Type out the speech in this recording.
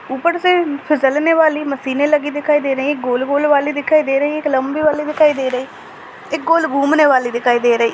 ऊपर से फिसल ने वाली मशीनें लगी दिखाई दे रही है गोल गोल वाली दिखाई दे रही है एक लंबी वाली दिखाई दे रही है एक गोल घुमने वाली दिखाई दे रही है।